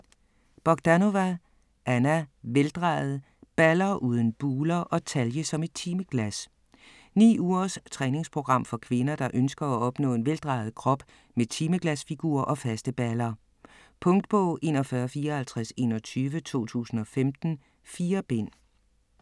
Bogdanova, Anna: Veldrejet: balder uden buler & talje som et timeglas Ni ugers træningsprogram for kvinder, der ønsker at opnå en vejdrejet krop med timeglasfigur og faste baller. Punktbog 415421 2015. 4 bind.